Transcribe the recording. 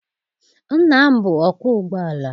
Nna m bụ ọkwọ ụgbọala.